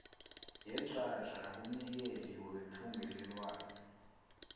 yeenhlahla kumnikeli wethungelelwano